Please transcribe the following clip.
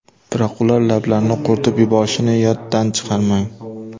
Biroq ular lablarni quritib yuborishini yoddan chiqarmang.